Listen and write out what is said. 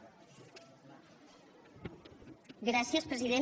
gràcies president